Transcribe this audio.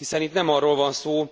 Hiszen itt nem arról van szó,